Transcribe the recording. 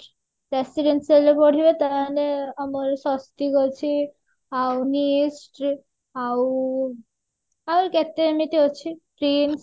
residential ରେ ପଢିବ ତାହେଲେ ସ୍ଵସ୍ତିକ ଅଛି ଆଉ ଆଉ କେତେ ଏମିତି ଅଛି KIMS